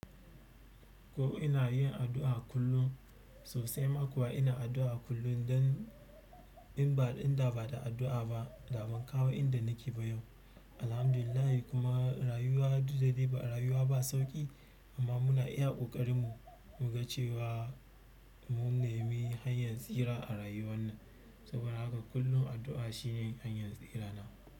Ko ina yin addu'a kullum sosai ma kuwa ina addu'a kullum dan in ba, in da ba da addu'a ba, da ban kawo inda nake ba yau. Alhamdulillah kuma rayuwa duk da dai ba rayuwa ba sauƙi amma muna iya ƙoƙarin mu mu ga cewa mun nemi hanyar tsira a rayuwa nan. Saboda haka kullum addu'a shine hanyar tsira na.